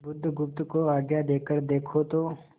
बुधगुप्त को आज्ञा देकर देखो तो